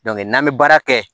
n'an bɛ baara kɛ